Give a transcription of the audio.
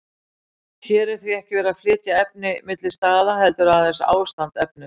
Hér er því ekki verið að flytja efni milli staða, heldur aðeins ástand efnis.